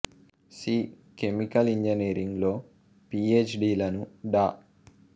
C chemical engineering లో P H D లను డా